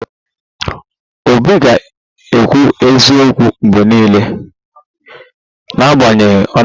Obi ga-ekwu eziokwu mgbe niile, n'agbanyeghị ọnọdụ